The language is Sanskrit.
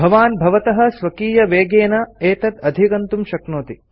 भवान् भवतः स्वकीयवेगेन एतत् अधिगन्तुं शक्नोति